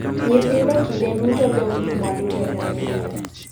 Nyithindo kinde duto dong' gi mwandu jonyuol gi.